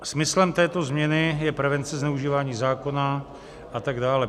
Smyslem této změny je prevence zneužívání zákona a tak dále.